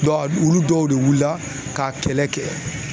Dɔw a olu dɔw de wulila k'a kɛlɛ kɛ